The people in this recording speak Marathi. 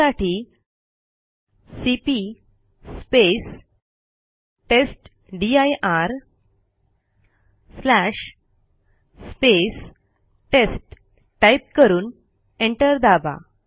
त्यासाठी सीपी टेस्टदीर टेस्ट टाईप करून एंटर दाबा